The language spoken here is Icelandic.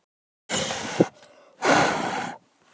Hvernig gæti manneskja frá Íslandi gert þetta?